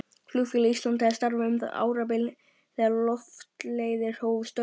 Flugfélag Íslands hafði starfað um árabil þegar Loftleiðir hófu störf.